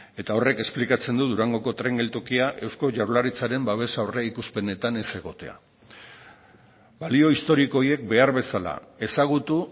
eta horrek esplikatzen du durangoko tren geltokia eusko jaurlaritzaren babes aurreikuspenetan ez egotea balio historiko horiek behar bezala ezagutu